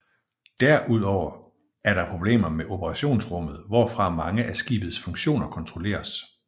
Derudover er der problemer med operationsrummet hvorfra mange af skibet funktioner kontrolleres